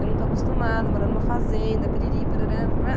Eu não estou acostumada, morar numa fazenda, piriri, parará, pararã